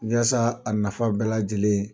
Yasa a nafa bɛɛ lajɛlen